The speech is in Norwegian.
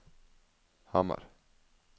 Hamar